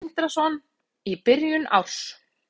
Sindri Sindrason: Í byrjun árs?